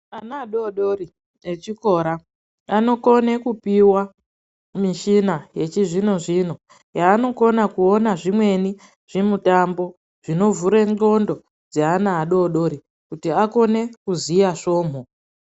Ana adodori echikora anokone kupiwa mushina yechizvino zvino yaanokona kuona zvimweni zvimutambo zvinovhurw ndxondo dzaana adodori kuti akone kuziya svomhu.